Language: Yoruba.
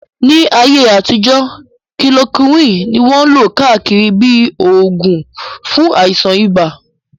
Ní ayé àtijọ́, kilorokíwìn ní wọ́n lò káàkiri bíi oògùn fún àìsàn ibà